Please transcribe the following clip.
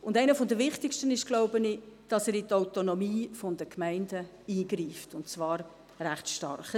Ich glaube, einer der wichtigsten Nachteile ist, dass er in die Autonomie der Gemeinden eingreift, und zwar recht stark.